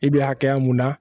I bɛ hakɛya mun na